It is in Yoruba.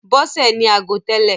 Bọ́sè ní ago tẹ́lè.